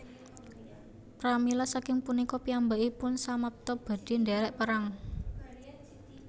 Pramila saking punika piyambakipun samapta badhe ndherek Perang